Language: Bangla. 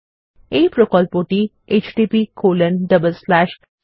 এই প্রকল্পটি httpspoken tutorialorg দ্বারা পরিচালিত হয়